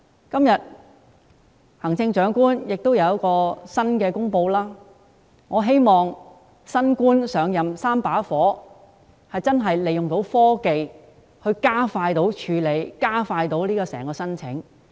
今天，行政長官有新的公布，我希望"新官上任三把火"，能夠利用科技加快處理申請。